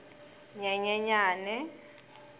nyenyenyane